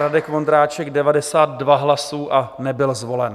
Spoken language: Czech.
Radek Vondráček 92 hlasů a nebyl zvolen.